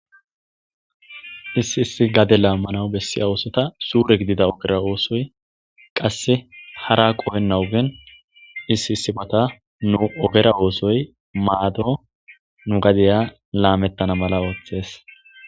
Issi issi gade lamanaw bessiya ossota suure gidida ossoy qasse hara qohenna ogen issi issi mata nu ogera oththoy maado nugadiya lamettana mala oththees.